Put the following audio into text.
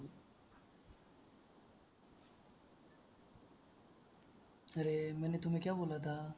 अरे मैने तुम्हे क्या बोला था